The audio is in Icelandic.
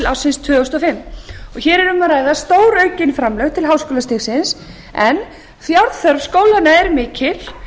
ársins tvö þúsund og fimm hér er um að ræða stóraukin framlög til háskólastigsins en fjárþörf skólanna er mikil